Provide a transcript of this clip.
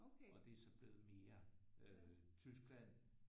Og det er så blevet mere øh Tyskland